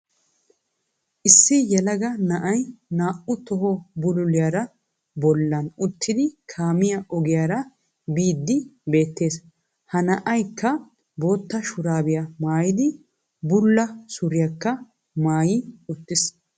Issi yelagga na"ay na"u toho bululiyari bollaan uttidi kaammiyaa ogiyaraa biyddi beettees ha na"aykka bootta shurabiya mayiddi bullaa suriyakka maayi uttiiss